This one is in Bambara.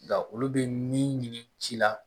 Nka olu bɛ min ɲini ci la